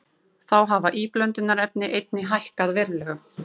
Þá hafa íblöndunarefni einnig hækkað verulega